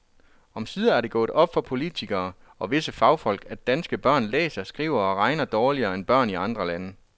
Omsider er det gået op for politikere og visse fagfolk, at danske børn læser, skriver og regner dårligere end børn i andre lande.